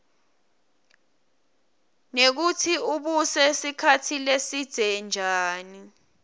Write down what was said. nekutsi ubuse sikhatsi lesidze njani